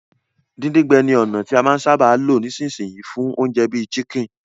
Díndín-gbẹ ni ònà ti a máa n sábà lo nisínsìn yii fún ounje bi chicken